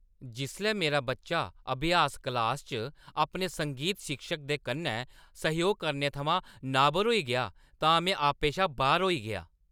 जिसलै मेरा बच्चा अभ्यास क्लासा च अपने संगीत शिक्षक दे कन्नै सैह्‌योग करने थमां नाबर होई गेआ तां में आपे शा बाह्‌र होई गेआ।